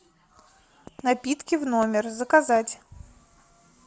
напитки в номер заказать